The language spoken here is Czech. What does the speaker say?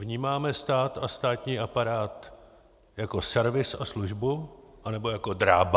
Vnímáme stát a státní aparát jako servis a službu, anebo jako drába?